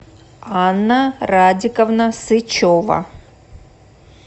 анна радиковна сычева